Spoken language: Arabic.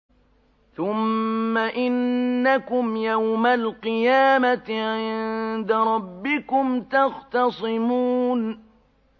ثُمَّ إِنَّكُمْ يَوْمَ الْقِيَامَةِ عِندَ رَبِّكُمْ تَخْتَصِمُونَ